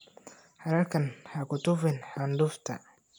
Halkan ha ku tufin candufta.